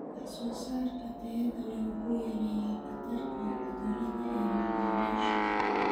Wax soo saarka tayada leh wuxuu yareeyaa khatarta cudurrada ee macaamiisha.